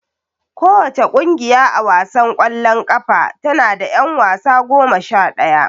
Kowace ƙungiya a wasan ƙwallon ƙafa tana da ƴan wasa goma sha ɗaya.